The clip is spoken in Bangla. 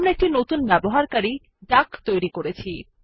আমরা একটি নতুন ব্যবহারকারী ডাক তৈরী করেছি